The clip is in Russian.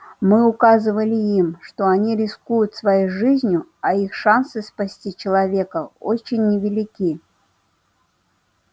мы указывали им что они рискуют своей жизнью а их шансы спасти человека очень невелики